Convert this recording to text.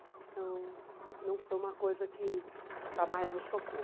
Então, não foi uma coisa que jamais me chocou.